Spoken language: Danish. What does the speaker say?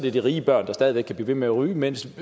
er de rige børn der stadig væk kan blive ved med at ryge mens